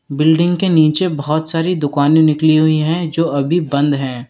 Building के नीचे बहोत सारी दुकाने निकली हुई है जो अभी बंद है।